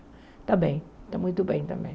Está bem, está muito bem também.